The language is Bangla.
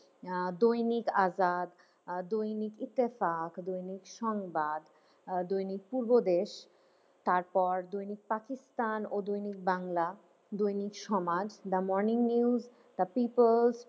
আহ দৈনিক আজাদ, আহ দৈনিক ইত্তেফাক, দৈনিক সংবাদ, আহ দৈনিক পূর্বদেশ, তারপর দৈনিক পাকিস্তান ও Dainik Bangla, Dainik Samaj, the morning news, the people's,